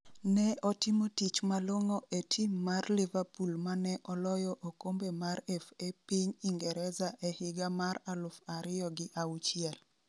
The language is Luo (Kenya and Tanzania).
ne otimo tich malong'o e tim mar liverpool mane oloyo okombe mar FA piny ingreza e higa mar alufu ariyo gi auchiel